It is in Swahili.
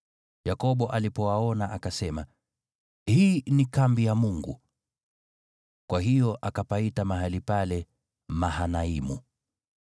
Yakobo alipowaona, akasema, “Hii ni kambi ya Mungu!” Kwa hiyo akapaita mahali pale Mahanaimu.